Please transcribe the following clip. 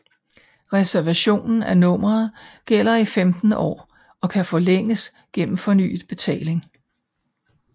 Reservationen af nummeret gælder i 15 år og kan forlænges gennem fornyet betaling